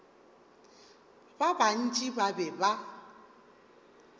ba bantši ba be ba